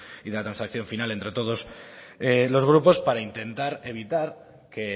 y la transacción final entre todos los grupos para intentar evitar que